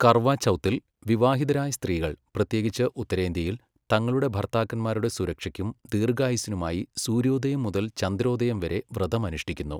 കർവാ ചൗത്തിൽ, വിവാഹിതരായ സ്ത്രീകൾ, പ്രത്യേകിച്ച് ഉത്തരേന്ത്യയിൽ, തങ്ങളുടെ ഭർത്താക്കന്മാരുടെ സുരക്ഷയ്ക്കും ദീർഘായുസ്സിനുമായി സൂര്യോദയം മുതൽ ചന്ദ്രോദയം വരെ വ്രതം അനുഷ്ഠിക്കുന്നു.